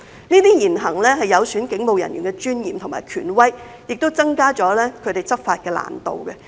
這些言行有損警務人員的尊嚴和權威，亦增加了他們執法的難度。